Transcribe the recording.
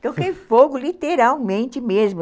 Toquei fogo literalmente mesmo.